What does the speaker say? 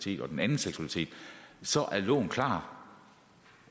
eller den anden seksualitet så er loven klar